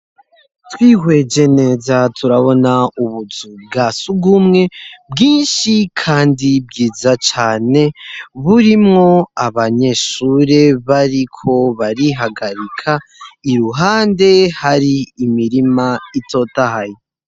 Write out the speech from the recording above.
Twihweje neza turabona ubuzu bwasugumwe bwinshi kandi bwiza cane burimwo abanyeshure bariko barihagarika iruhande hari imirima itotahaye.